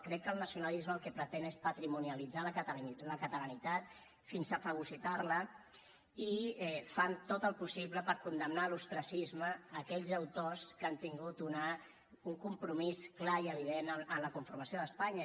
crec que el nacionalisme el que pretén és patrimonialitzar la catalanitat fins a fagocitar la i fan tot el possible per condemnar a l’ostracisme aquells autors que han tingut un compromís clar i evident en la formació d’espanya